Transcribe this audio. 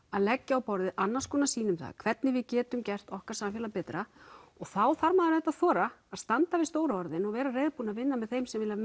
að leggja á borðið annars konar sýn um það hvernig við getum gert okkar samfélag betra og þá þarf maður auðvitað að þora að standa við stóru orðin og vera reiðubúin að vinna með þeim sem vilja